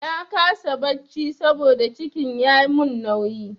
Na kasa barci saboda cikin ya mun nauyi.